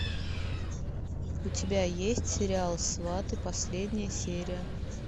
у тебя есть сериал сваты последняя серия